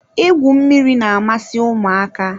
Igwu mmiri na-amasị ụmụaka.